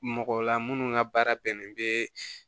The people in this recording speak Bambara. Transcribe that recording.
Mɔgɔ la minnu ka baara bɛnnen bɛ